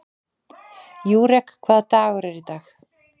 Júrek, hvaða dagur er í dag?